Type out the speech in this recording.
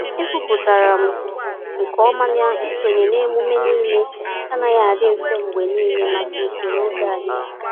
Ekwupụtara m nke ọma na isonye na emume niile anaghị adị mfe mgbe niile maka usoro oge anyị.